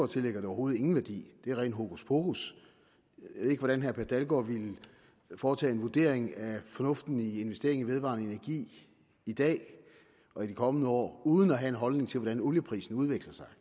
tillægger det overhovedet ingen værdi det er ren hokuspokus jeg ved ikke hvordan herre per dalgaard ville foretage en vurdering af fornuften i investering i vedvarende energi i dag og i de kommende år uden at have en holdning til hvordan olieprisen udvikler sig